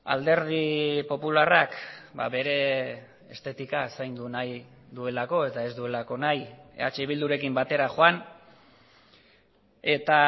alderdi popularrak bere estetika zaindu nahi duelako eta ez duelako nahi eh bildurekin batera joan eta